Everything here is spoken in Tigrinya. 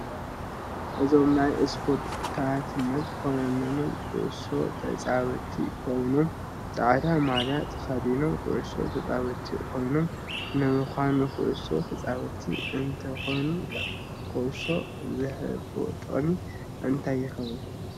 እዞም ናይ እስፖርተኛታት ኮይነኖም ኩዕሶ ተጫወቲ ኮይኖም ፃዕዳ ማልያ ተከዲኖም ኩዕሶ ተፃወቲ ኮይኖም ንምካኑ ኩዕሶ ተፃወቲ እንትኮኑ ኮሾ ዝህቦጥቅም እንታይ የከውን